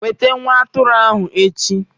Weta nwa atụrụ ahu echi!